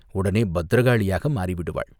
உடனே பத்திரகாளியாக மாறி விடுவாள்.